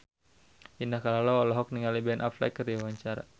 Indah Kalalo olohok ningali Ben Affleck keur diwawancara